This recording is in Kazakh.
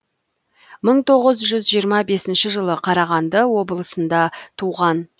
мың тоғыз жүз жиырма бесінші жылы қарағанды облысында туған